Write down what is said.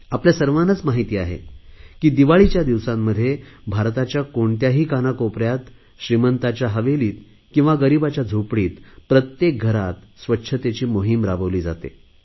आपल्या सर्वांनाच माहित आहे की दिवाळीच्या दिवसांमध्ये भारताच्या कोणत्याही कानाकोपऱ्यात श्रीमंताच्या हवेलीत किंवा गरीबाच्या झोपडीत प्रत्येक घरात स्वच्छतेची मोहिम राबविली जाते